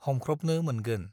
हमख्रबनो मोनगोन।